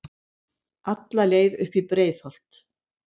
Alla leið upp í Breiðholt.